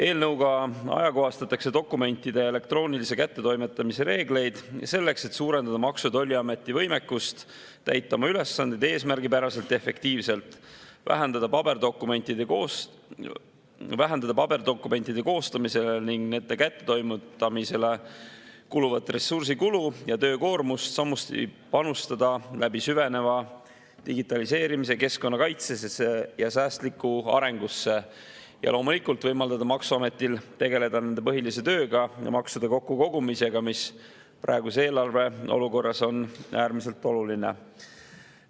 Eelnõuga ajakohastatakse dokumentide elektroonilise kättetoimetamise reegleid selleks, et suurendada Maksu‑ ja Tolliameti võimekust täita oma ülesandeid eesmärgipäraselt ja efektiivselt, vähendada paberdokumentide koostamisele ning nende kättetoimetamisele kuluvat ressursikulu ja töökoormust, samuti panustada läbi süveneva digitaliseerimise keskkonnakaitsesse ja säästlikku arengusse ning loomulikult võimaldada maksuametil tegeleda nende põhilise tööga, maksude kokkukogumisega, mis praeguses eelarveolukorras on äärmiselt oluline.